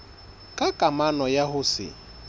ka kamano ya ho se